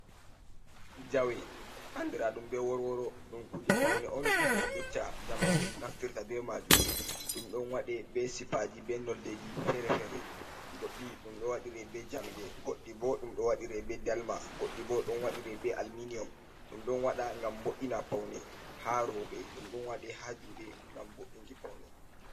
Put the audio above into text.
Jawe andira ɗum be worworo, ɗum kuje paune on je jotta zamanu naftirta be majum, ɗum ɗon waɗe be sipaji be noldeji fere-fere, goɗɗi ɗum ɗo waɗire be jamɗe, goɗɗi bo ɗum ɗo waɗire be dalma, goɗɗi bo ɗon waɗire be alminium, ɗum ɗon waɗa ngam bo’’ina paune ha roɓe, ɗum ɗon waɗe ha juɗe ngam bo’’inki paune.